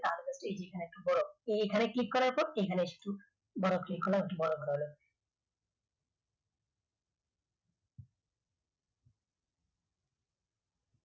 এখানে একটা এইখানে click করার পর বড় click করলাম একটু বড় ঘর হল